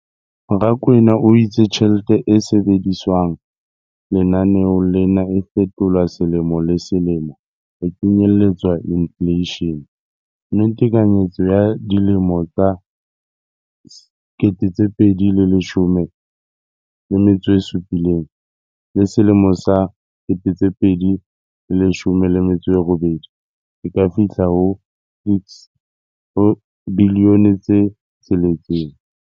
Rakwena o itse tjhelete e sebediswang lenaneong lena e fetolwa selemo le selemo ho kenyelletsa infleishene, mme tekanyetso ya 2017-18 e ka fihla ho R6.4 bilione.